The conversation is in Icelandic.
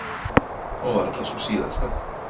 Og varla sú síðasta.